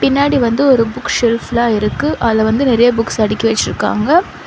பின்னாடி வந்து ஒரு புக் ஷெல்ஃப்லா இருக்கு. அதுல வந்து நெறைய புக்ஸ் அடுக்கி வெச்சிருக்காங்க.